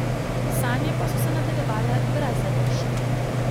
Sanje pa so se nadaljevale brez zadržkov.